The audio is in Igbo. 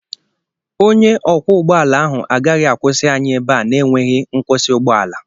Onye ọkwọ ụgbọala ahụ agaghị akwụsị anyị ebe a na-enweghị nkwụsị ụgbọala